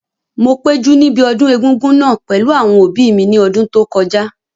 Mo péjú níbi ọdún egúngún náà pẹ̀lú àwọn òbí mi ní ọdún tó kọjá